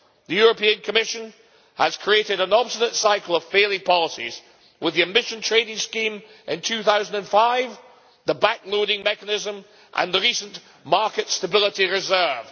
The Commission has created an obstinate cycle of failing policies with the Emission Trading Scheme in 2005, the back loading mechanism and the recent market stability reserve.